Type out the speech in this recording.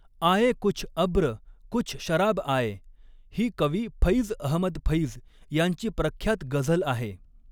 आये कुछ अब्र कुछ शराब आये ही कवी फ़ैज़ अहमद फ़ैज़ यांची प्रख्यात गझल आहे.